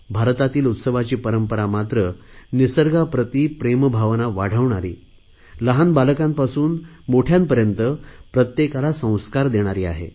भारतातील उत्सवाची परंपरा मात्र निसर्गाप्रती प्रेमभावना वाढवणारी लहान बालकांपासून मोठयांपर्यंत प्रत्येकाला संस्कार देणारी आहे